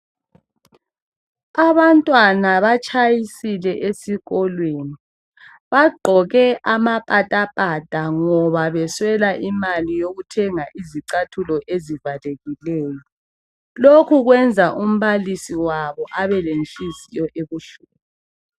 Abantwana batshayisile esikolweni bagqoke amapata pata ngoba beswela imali yokuthenga izicathulo ezivalekileyo lokhu kwenza umbalisi wabo abe lenhliziyo ebuhlungu.